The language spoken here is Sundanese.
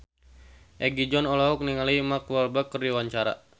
Egi John olohok ningali Mark Walberg keur diwawancara